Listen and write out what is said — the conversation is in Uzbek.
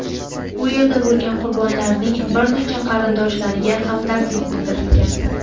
u yerda bo‘lgan qurbonlarning bir necha qarindoshlariga hamdardlik bildirgan.